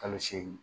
Kalo seegin